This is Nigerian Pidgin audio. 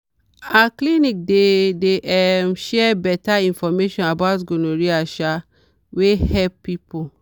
our clinic dey dey um share better information about gonorrhea um wey help people.